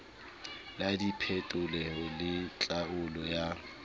la diphetolelo le tlhaolo ya